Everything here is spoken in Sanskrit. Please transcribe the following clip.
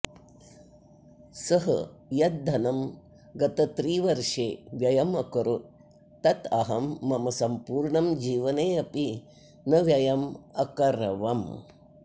सः यत् धनं गतत्रिवर्षे व्ययम् अकरोत् तत् अहं मम सम्पूर्ण जीवने अपि न व्ययम् अकरवम्